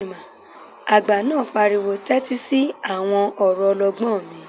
Àgbà náà pariwo 'tẹ́tí sí àwọn ọ̀rọ̀ ọlọ́gbọ́n mi'